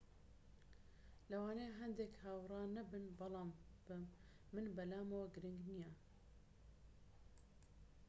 ‎ ‎لەوانەیە هەندێک هاوڕا نەبن بەڵام من بەلامەوە گرنگ نییە